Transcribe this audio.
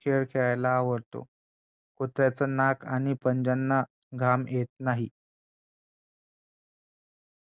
खेळ खेळायला आवडतो कुत्र्याचे नाक आणि पंज्यांना घाम येत नाही